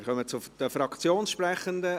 Wir kommen zu den Fraktionssprechenden.